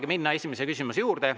Saamegi minna esimese küsimuse juurde.